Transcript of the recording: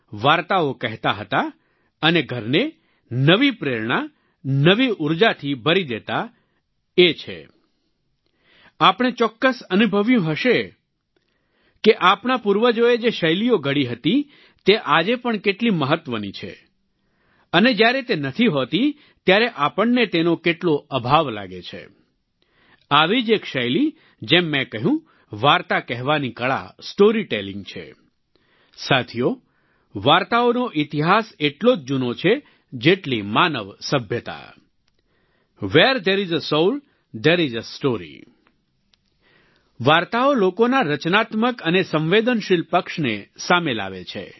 વાર્તાઓ લોકોના રચનાત્મક અને સંવેદનશીલ પક્ષને સામે લાવે છે